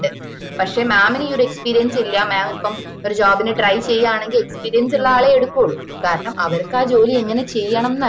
പക്ഷെ mam ന് ഈ ഒര് experience ഇല്ല mam ഇപ്പൊ ഒര് job ന് try ചെയ്യാനെകിൽ experience ഉള്ള ആളെയെ എടുക്കുള്ളു കാരണം അവർക്ക് ആ ജോലി എങ്ങനെ ചെയ്യണമെന്ന് അറിയാ